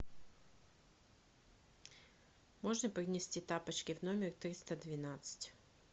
можно принести тапочки в номер триста двенадцать